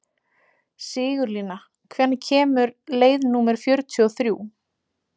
Sigurlína, hvenær kemur leið númer fjörutíu og þrjú?